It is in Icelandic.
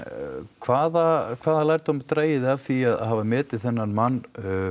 hvaða hvaða lærdóm dragið þið af því að hafa metið þennan mann